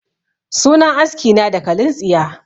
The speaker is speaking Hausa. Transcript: Sunan aski na dakalin tsiya